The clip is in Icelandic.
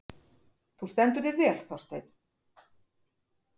Þú stendur þig vel, Þorsteinn!